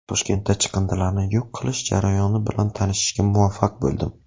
Toshkentda chiqindilarni yo‘q qilishi jarayoni bilan tanishishga muvaffaq bo‘ldim.